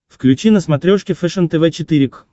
включи на смотрешке фэшен тв четыре к